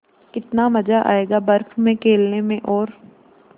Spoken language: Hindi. कितना मज़ा आयेगा बर्फ़ में खेलने में और